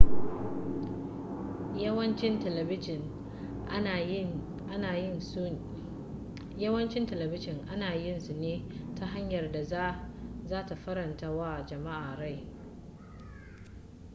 yawancin telebijin ana yin su ne ta hanyar da za ta faranta wa jama'a rai